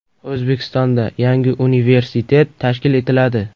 O‘zbekistonda yangi universitet tashkil etiladi.